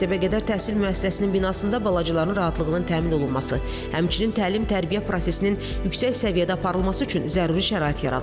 Məktəbə qədər təhsil müəssisəsinin binasında balacaların rahatlığının təmin olunması, həmçinin təlim tərbiyə prosesinin yüksək səviyyədə aparılması üçün zəruri şərait yaradılıb.